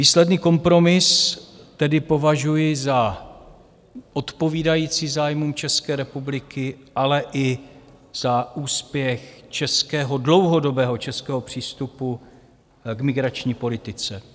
Výsledný kompromis tedy považuji za odpovídající zájmům České republiky, ale i za úspěch českého, dlouhodobého českého přístupu k migrační politice.